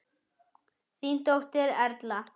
Þín dóttir Erla.